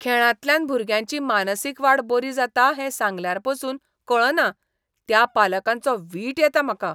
खेळांतल्यान भुरग्यांची मानसीक वाड बरी जाता हें सांगल्यारपासून कळना त्या पालकांचो वीट येता म्हाका.